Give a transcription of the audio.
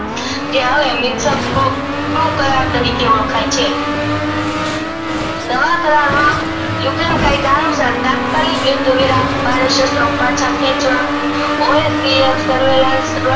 તે હવે કરાર તરીકે ઓળખાય છે નવા કરાર માં Ukraine અનુસાર તાત્કાલિક યુદ્ધવિરામ પરેશેત્રો પાંચ કીચવા survillance